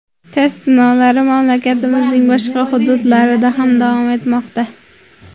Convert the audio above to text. Test sinovlari mamlakatimizning boshqa hududlarida ham davom etmoqda.